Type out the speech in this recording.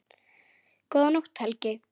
Góða nótt, Helgi.